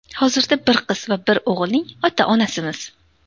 Hozirda bir qiz va bir o‘g‘ilning ota-onasimiz.